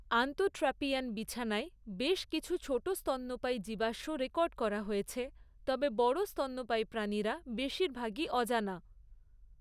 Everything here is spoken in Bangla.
আন্তঃট্র্যাপিয়ান বিছানায় বেশ কিছু ছোট স্তন্যপায়ী জীবাশ্ম রেকর্ড করা হয়েছে, তবে বড় স্তন্যপায়ী প্রাণীরা বেশিরভাগই অজানা।